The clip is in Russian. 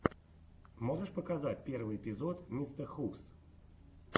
можешь показать первый эпизод мистэхувс